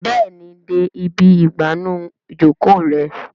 Béèni dé ibí igbanu Ìjoko rẹ.